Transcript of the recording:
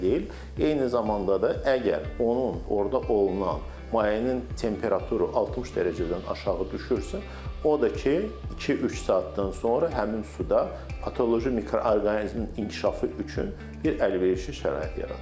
Eyni zamanda da əgər onun orda olunan mayenin temperaturu 60 dərəcədən aşağı düşürsə, o da ki, iki-üç saatdan sonra həmin suda patoloji mikroorqanizmin inkişafı üçün bir əlverişli şərait yaradır.